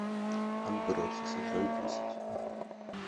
отбросы сезон десять